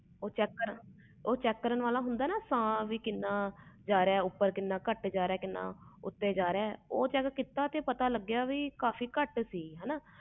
ਉਹ ਹੁੰਦਾ ਸਾਹ ਚੈੱਕ ਕਰਨ ਵਾਲਾ ਸਾਹ ਕਿੰਨਾ ਕੱਟ ਆ ਕਿੰਨਾ ਜਿਆਦਾ ਸਾਹ ਉਹ ਚੈੱਕ ਕੀਤੇ ਤੇ ਸਾਹ ਕੱਟ ਜਾ ਰਿਹਾ ਸੀ